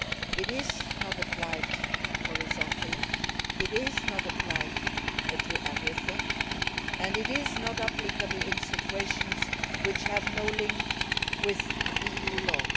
It is not applied horizontally and not to everything, and it is not applicable in situations which have no link with EU law.